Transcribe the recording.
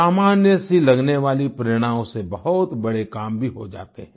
सामान्य सी लगने वाली प्रेरणाओं से बहुत बड़े काम भी हो जाते हैं